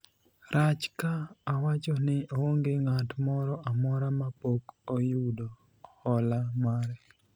rach ka awacho ni onge ng'at moro amora ma pok oyudo hola mare ?